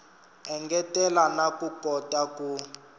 engetela na ku kota ku